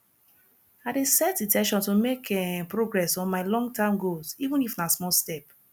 i dey set in ten tion to make um progress on my longterm goals even if na small step